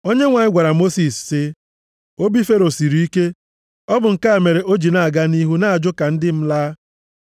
Onyenwe anyị gwara Mosis sị, “Obi Fero siri ike. Ọ bụ nke a mere o ji na-aga nʼihu na-ajụ ka ndị m laa.